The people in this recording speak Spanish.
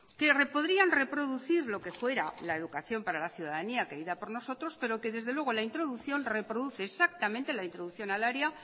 que pondrían reproducir lo que fuera la educación para la ciudadanía querida por nosotros pero que desde luego la introducción reproduce exactamente la introducción al área